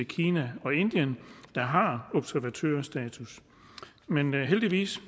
kina og indien der har observatørstatus men heldigvis